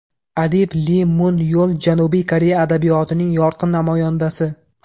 Adib Li Mun Yol Janubiy Koreya adabiyotining yorqin namoyandasi.